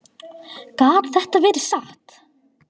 Gat þetta verið satt?